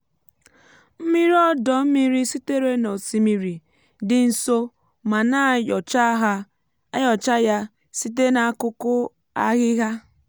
mmiri ọdọ mmiri sitere n’osimiri dị nso ma na-ayocha ya site n’akụkụ ahịhịa.